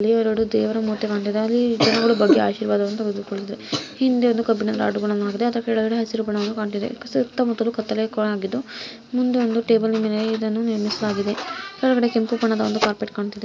ಇಲ್ಲಿ ಎರಡು ದೇವರ ಮೂರ್ತಿಗಳು ಇದೆ ಅದು ಜನರಿಗೆ ಆರ್ಶೀವಾದ ಮಾಡುತ್ತಿದೆ ಹಿಂದೆ ಕಬ್ಬಿಣದ ರಾಡುಗಳಿವೆ ಹಸಿರು ಬಣ್ಣದಿಂದ ಕಾಣುತ್ತಿದೆ ಅದರ ಸುತ್ತಮುತ್ತಲೂ ಕತ್ತೆಲೆಯಿಂದ ಕೋಣೆ ಆಗಿದ್ದು ಮುಂದೆ ಒಂದು ಟೇಬಲ್‌ ಮೇಲೆ ಇದನ್ನು ನಿರ್ಮಿಸಲಾಗಿದೆ ಕೆಳಗಡೆ ಒಂದು ಕೆಂಪು ಕಾರ್‌ಪೇಟ್‌ ಕಾಣ್ತಾ ಇದೆ.